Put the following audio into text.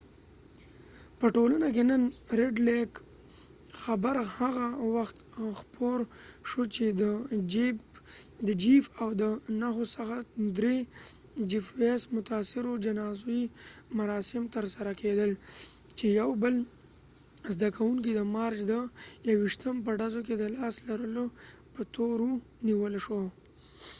د ریډ لیک red lakeپه ټولنه کې نن خبر هغه وخت خپور شو چې دجیف ويس jeff weise او د نهو څخه د درې نورو متاثرو جنازی مراسم تر سره کېدل . چې یو بل زده کوونکې د مارچ د 21 په ډزو کې د لاس لرلو په تور و نیول شو